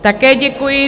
Také děkuji.